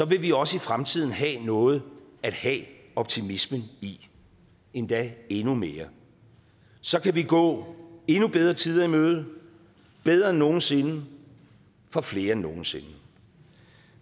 vil vi også i fremtiden have noget at have optimismen i endda endnu mere så kan vi gå endnu bedre tider i møde bedre end nogensinde for flere end nogensinde